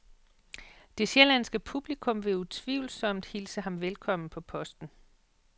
Det sjællandske publikum vil utvivlsom hilse ham velkommen på posten.